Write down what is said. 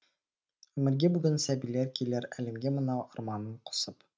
өмірге бүгін сәбилер келер әлемге мынау арманнын қосып